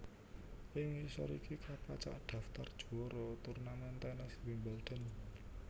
Ing ngisor iki kapacak daftar juwara turnamen tènes Wimbledon